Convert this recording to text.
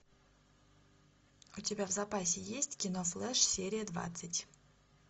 у тебя в запасе есть кино флэш серия двадцать